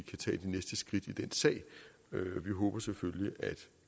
tage de næste skridt i den sag vi håber selvfølgelig at